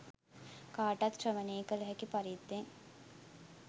කාටත් ශ්‍රවණය කළ හැකි පරිද්දෙන්